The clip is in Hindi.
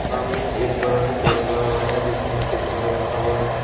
सामने एक बड़ा सा पेड़ खड़ा हुआ है जिसके नीचे गमला रखा हुआ है।